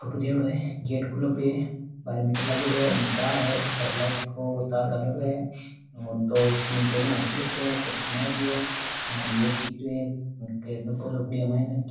Photo दियेडो है gate खुले पडो है बाहर मीटर लागेडो है उनने तार है ऊपर लाइट को तार लागेड़ो है दो तीन पेडिया अठिले छडे है चौकी बनायेडी है मायने गेट दिख रियो है एक माइने।